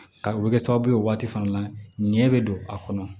Ka o bɛ kɛ sababu ye o waati fana nɛ bɛ don a kɔnɔ